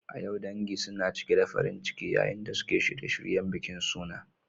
A yau, dangi suna cike da farin ciki yayin da suke shirye-shiryen bikin suna.